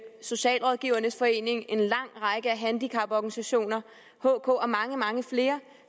socialrådgivernes forening en lang række handicaporganisationer hk og mange mange flere